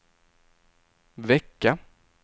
vecka